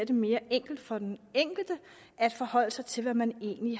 det mere enkelt for den enkelte at forholde sig til hvad man egentlig